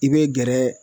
I bɛ gɛrɛ